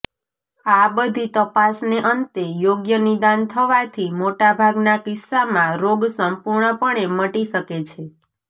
આ બધી તપાસને અંતે યોગ્ય નિદાન થવાથી મોટાભાગના કિસ્સામાં રોગ સંપૂર્ણપણે મટી શકે છે